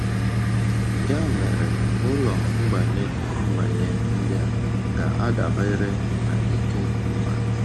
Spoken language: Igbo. Ya mere, ụlọ mgbanye mgbanye ndị a ga-adabere n’ike mmadụ.